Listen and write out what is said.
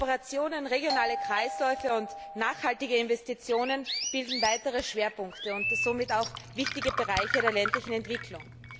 Kooperationen, regionale Kreisläufe und nachhaltige Investitionen bilden weitere Schwerpunkte und somit auch wichtige Bereiche der ländlichen Entwicklung.